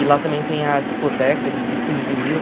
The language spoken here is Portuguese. E lá também tem a discoteca de disco de vinil.